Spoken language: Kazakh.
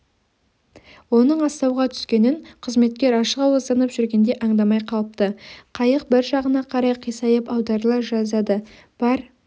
оның астауға түскенін қызметкер ашықауызданып жүргенде аңдамай қалыпты қайық бір жағына қарай қисайып аударыла жаздады бар